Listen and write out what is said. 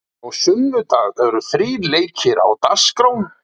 Á sunnudag eru þrír leikir á dagskrá.